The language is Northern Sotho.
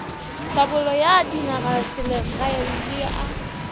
thlabollo ya dinagaselegae le a